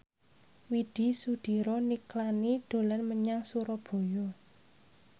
Widy Soediro Nichlany dolan menyang Surabaya